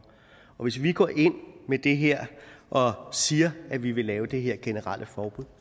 hvis vi går ind med det her og siger at vi vil lave det her generelle forbud